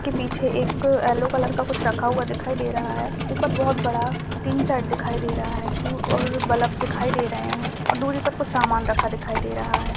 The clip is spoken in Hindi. के पीछे एक एलो कलर का कुछ रखा दिखाई दे रहा है ऊपर बोहोत बड़ा टीन शेड दिखाई दे रहा है और बल्ब दिखाई दे रहे हैं और दूरी पर कुछ सामान रखा दिखाई दे रहा है।